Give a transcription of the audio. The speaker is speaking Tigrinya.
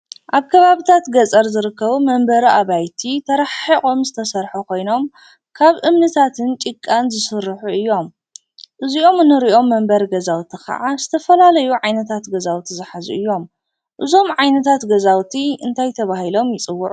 ኣብ ከባቢ ገጠር ዝርከቡ መንበሪ ኣባይቲ ተረሓሒቆም ዝተሰርሑ ኮይኖም ካብ እምንታትን ጭቃን ዝስርሑ እዮም:: እዚኦም እንሪኦም መንበሪ ገዛውቲ ክዓ ዝተፈላለዩ ዓይነታት ገዛውቲ ዝሓዙ እዮም:: እዞም ዓይነታት ገዛውቲ እንታይ ተባሂሎ ይፅውዑ?